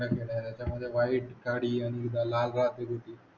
त्याच्या मधे व्हाईट काळी आणि लाल